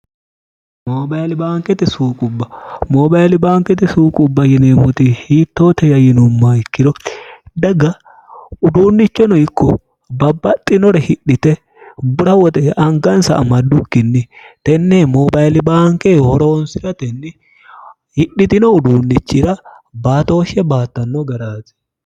moobali baankete suuqubba moobaili baankete suuqubba yineemmoti hiittoote yayinumma ikkiro dagga uduunnichono ikko babbaxxinore hidhite bura woxe angansa amaddukkinni tenne moobaili baanke horoonsi'ratenni hidhitino uduunnichira baatooshshe baattanno garaati